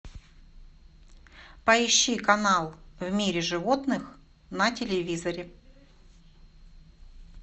поищи канал в мире животных на телевизоре